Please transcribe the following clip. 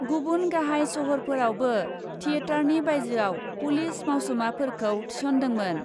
गुबुन गाहाइ सहरफोरावबो थियेटारनि बाइजोआव पुलिस मावसुमाफोरखौ थिसनदोंमोन ।